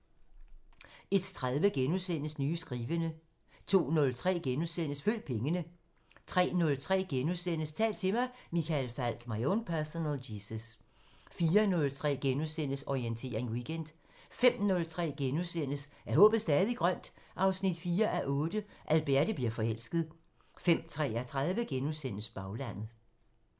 01:30: Nye skrivende * 02:03: Følg pengene * 03:03: Tal til mig – Michael Falch: My own personal Jesus * 04:03: Orientering Weekend * 05:03: Er håbet stadig grønt? 4:8 – Alberte bliver forelsket * 05:33: Baglandet *